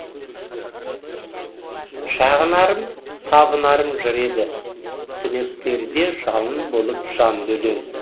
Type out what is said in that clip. шағынарым табынарым жыр еді түнектерде жалын болып жанды өлең